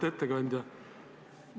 Auväärt ettekandja!